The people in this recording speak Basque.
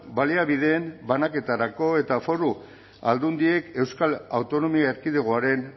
baliabideen banaketarako eta foru aldundiek euskal autonomia erkidegoaren